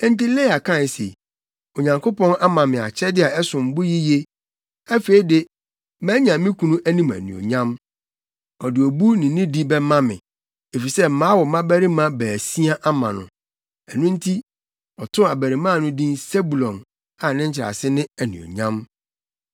Enti Lea kae se, “Onyankopɔn ama me akyɛde a ɛsom bo yiye. Afei de, manya me kunu anim anuonyam. Ɔde obu ne nidi bɛma me, efisɛ mawo mmabarima baasia ama no. Enti ɔtoo abarimaa no din Sebulon a ne nkyerɛase ne Anuonyam.”